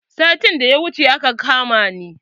Satin da ya wuce aka kama ni.